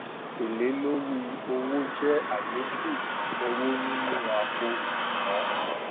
èlé lórí owó jé àlékún owó nínú àpò òṣùwòn